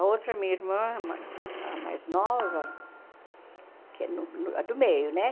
A outra, minha irmã, mais a mais nova, que é no no a do meio, né?